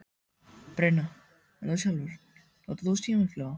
Brynja: En þú sjálfur, notar þú símaklefa?